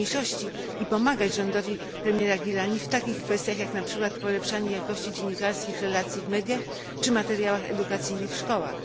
mniejszości i pomagać rządowi premiera Gilaniego w takich kwestiach, jak na przykład polepszanie jakości dziennikarskich relacji w mediach czy materiałach edukacyjnych w szkołach.